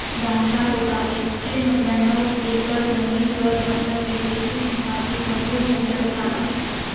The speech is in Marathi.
बांधला होता एकशे नव्व्याण्णव एकर जमीन वर पसरलेली ही समाधी भव्य मुघल